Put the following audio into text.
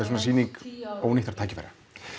svona sýning ónýttra tækifæra